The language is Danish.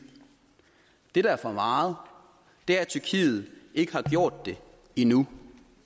det der er for meget er at tyrkiet ikke har gjort det endnu